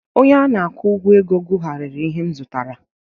Onye na-akwụ ụgwọ ego gụgharịrị ihe m zụtara